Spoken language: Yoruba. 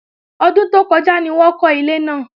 Ọdún tó kọjá ni wọ́n kọ́ ilé náà